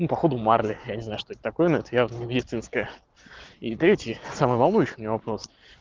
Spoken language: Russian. ну походу марли я не знаю что это такое но это явно не медицинская и третий самый волнующий у меня вопрос